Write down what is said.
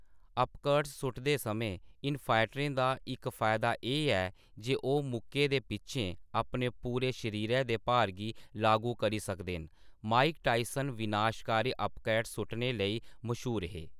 Uppercuts सुट्टदे समें इन-फाइटरें दा इक मता फायदा एह् ऐ जे ओह् मुक्के दे पिच्छें अपने पूरे शरीरै दे भार गी लागू करी सकदे न; माइक टायसन विनाशकारी अपर्कट्स सुट्टने लेई मशहूर हे।